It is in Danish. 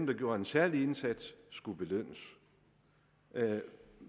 der gjorde en særlig indsats skulle belønnes